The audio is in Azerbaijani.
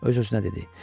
Öz-özünə dedi.